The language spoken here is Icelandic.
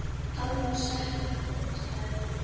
Hann var settur í útlegð.